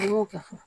An y'o kɛ fɔlɔ